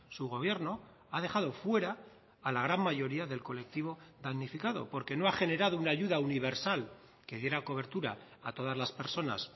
su gobierno ha dejado fuera a la gran mayoría del colectivo damnificado porque no ha generado una ayuda universal que diera cobertura a todas las personas